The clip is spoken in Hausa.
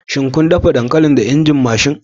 Shin kun dafa dankalin da injin mashin?